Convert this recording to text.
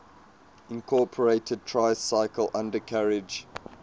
incorporated tricycle undercarriage